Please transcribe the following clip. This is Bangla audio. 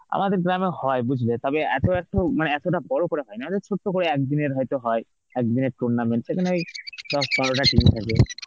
আমাদের গ্রামেও হয় বুঝলে তবে এত একটু মানে এতটা বড় করে হয় না. আমাদের ছোট্ট করে এক দিনের হয়তো হয়. একদিনের tournament সেখানেই দশ বারো টা team থাকে.